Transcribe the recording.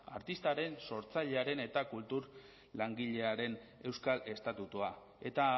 artistaren sortzailearen eta kultur langilearen euskal estatutua eta